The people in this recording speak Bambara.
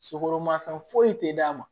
Sukoromafɛn foyi tɛ d'a ma